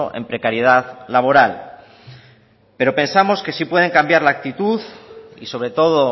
en precariedad laboral pero pensamos que sí pueden cambiar la actitud y sobre todo